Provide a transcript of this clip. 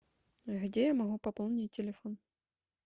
где я могу пополнить телефон